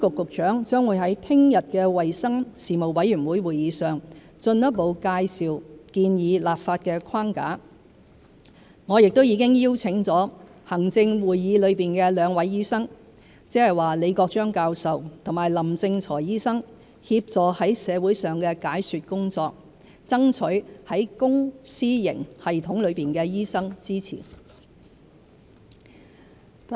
食物及衞生局局長將會在明天的衞生事務委員會會議上進一步介紹建議立法的框架，我亦已邀請行政會議內兩位醫生，即李國章教授和林正財醫生，協助在社會上的解說工作，爭取在公私營系統內的醫生支持。